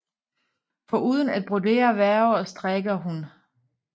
Foruden at brodere væver og strikker hun